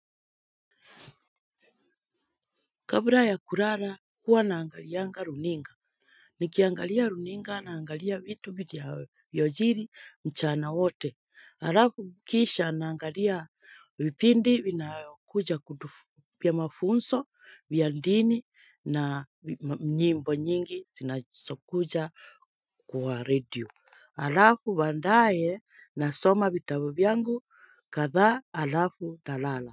Kabla ya kulala huwa naangalianga runinga. Nikiangalia runinga naangalia vitu vya nchini mchana wote alafu kisha naangalia vipindi vina kuja kutufunza vya mafunzo vya dini na nyimbo nyingi zinazokuja kwa radio. Alafu baadaye nasoma vitabu vyangu kadhaa alafu nalala.